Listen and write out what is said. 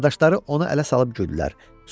Qardaşları onu ələ salıb güldülər.